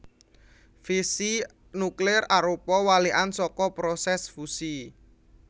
Fisi nuklir arupa walikan saka prosès fusi